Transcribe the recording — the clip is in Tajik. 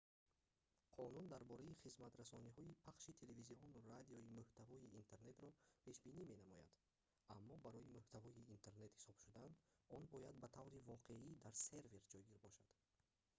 қонун дар бораи хизматрасониҳои пахши телевизиону радио муҳтавои интернетро пешбинӣ менамояд аммо барои муҳтавои интернет ҳисоб шудан он бояд ба таври воқеӣ дар сервер ҷойгир бошад